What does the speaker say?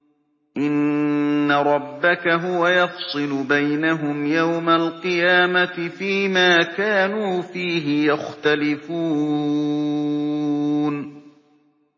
إِنَّ رَبَّكَ هُوَ يَفْصِلُ بَيْنَهُمْ يَوْمَ الْقِيَامَةِ فِيمَا كَانُوا فِيهِ يَخْتَلِفُونَ